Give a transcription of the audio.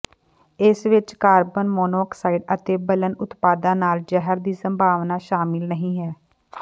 ਇਸ ਵਿੱਚ carbon monoxide ਅਤੇ ਬਲਨ ਉਤਪਾਦਾਂ ਨਾਲ ਜ਼ਹਿਰ ਦੀ ਸੰਭਾਵਨਾ ਸ਼ਾਮਲ ਨਹੀਂ ਹੈ